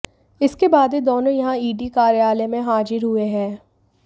इसके बाद ही दोनों यहां ईडी कार्यालय में हाजिर हुए हैं